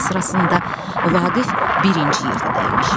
Onların sırasında Vaqif birinci yerdə dayanır.